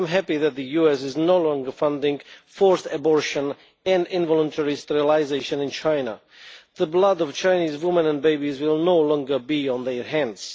I am happy that the US is no longer funding forced abortion and involuntary sterilisation in China. The blood of Chinese women and babies will no longer be on their hands.